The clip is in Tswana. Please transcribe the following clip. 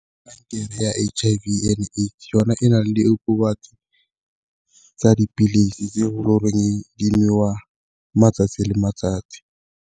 ya H_I_V and AIDS yona e na le diokobatsi tsa dipilisi tse go di nwewa matsatsi le matsatsi.